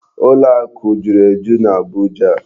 Ụlọ akụ juru eju n'Abuja.